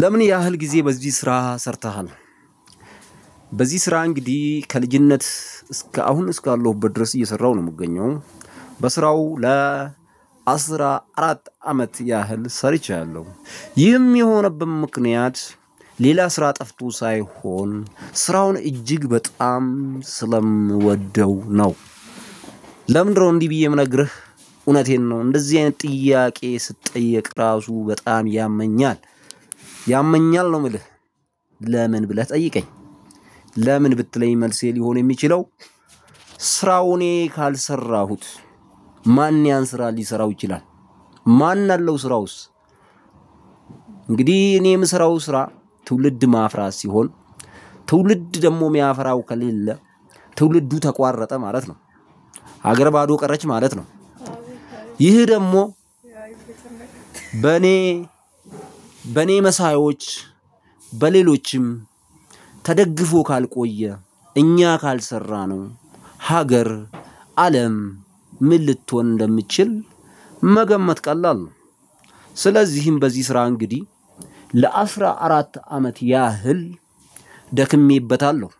ለምን ያህል ጊዜ በዚህ ስራ ሰርተሃል? በዚህ ስራ እንግዲህ ከልጅነት እስከ አሁን እስካለሁበት ድረስ እየሰራው ነው የምገኘው በስራው ለ አስራ አራት አመት ያህል ሰርቻለሁ። ይህም የሆነበት ምክንያት ሌላ ስራ ጠፍቶ ሳይሆን ስራውን እጅግ በጣም ስለምወደው ነው። ለምንድነው እንዲህ ብዬ ምነግርህ? እውነቴን ነው እንደዚህ አይነት ጥያቄ ስትጠየቅ ራሱ በጣም ያመኛል። ያመኛል ነው ምልህ። ለምን ብለህ ጠይቀኝ፤ ለምን ብትለኝ መልሴ ሊሆን የሚችለው፤ ስራው እኔ ካልሰራሁት ማን ያን ስራ ሊሰራው ይችላል? ማን አለው ስራውስ? እንግዲህ እኔ የምሰራው ስራ ትውልድ ማፍራት ሲሆን ትውልድ ደግሞ ሚያፈራው ከሌለ ትውልዱ ተቋረጠ ማለት ነው ሀገር ባዶ ቀረች ማለት ነው። ይህ ደግሞ በኔ በኔ መሳዮች፣ በሌሎችም ተደግፎ ካልቆየ እኛ ካልሰራነው ሀገር አለም ምን ልትሆን እንደምትችል መገመት ቀላል ነው። ስለዚህም በዚህ ስራ እንግዲህ ለአስራ አራት አመት ያህል ደክሜበታለሁ፤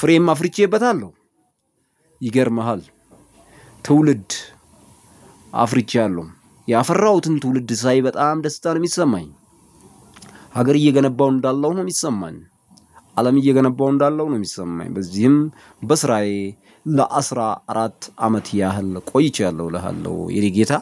ፍሬም አፍርቼበታለሁ። ይገርምሃል፤ ትውልድ አፍርቻለሁ፤ ያፈራሁትን ትውልድ ሳይ በጣም ደስታ ነው ሚሰማኝ። ሀገር እየገነባሁ እንዳለው ነው ሚሰማኝ፤ አለም እየገነባሁ እንዳለው ነው ሚሰማኝ፤ በዚህም በስራዬ ለአስራ አራት አመት ቆይቻለው እልሃለው የኔ ጌታ፤